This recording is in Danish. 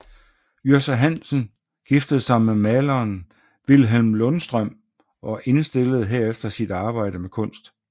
Yrsa Hansen giftede sig med maleren Vilhelm Lundstrøm og indstillede herefter sit arbejde med kunst